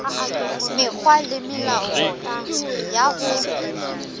mekgwa le melao ya ho